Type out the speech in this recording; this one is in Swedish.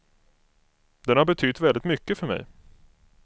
Den har betytt väldigt mycket för mig.